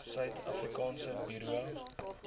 suid afrikaanse buro